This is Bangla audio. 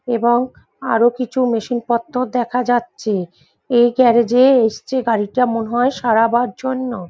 এবং আরো কিছু মেশিন পত্র দেখা যাচ্ছে এই গ্যারাজে এসছে গাড়িটা মনে হয় সারাবার জন্য।